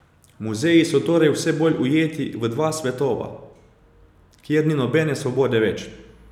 Muzeji so torej vse bolj ujeti v dva svetova, kjer ni nobene svobode več.